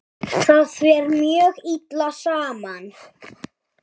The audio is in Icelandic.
Það fer mjög illa saman.